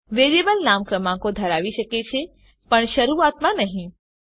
variable નામ ક્રમાંકો ધરાવી શકે છે પણ શરૂઆતમાં નહી